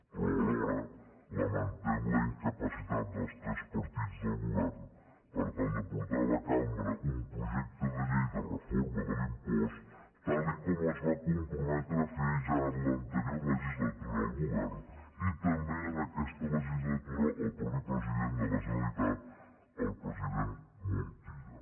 però alhora lamentem la incapacitat dels tres partits del govern per tal de portar a la cambra un projecte de llei de reforma de l’impost tal com es va comprometre a fer ja en l’anterior legislatura el govern i també en aquesta legislatura el mateix president de la generalitat el president montilla